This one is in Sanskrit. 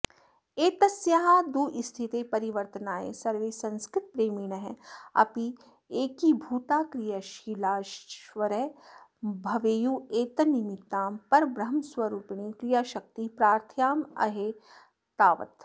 एतस्याः दुःस्थितेः परिवर्तनाय सर्वे संस्कृतप्रेमिणः अपि एकीभूताः क्रियाशीलाश्च भवेयुः एतन्निमित्तां परब्रह्मस्वरूपिणीं क्रियाशाक्ति प्रार्थायामहे तावत्